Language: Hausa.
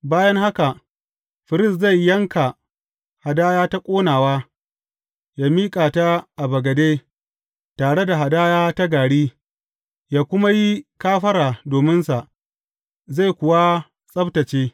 Bayan haka, firist zai yanka hadaya ta ƙonawa ya miƙa ta a bagade, tare da hadaya ta gari, ya kuma yi kafara dominsa, zai kuwa tsabtacce.